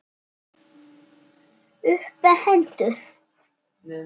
Upp með hendur!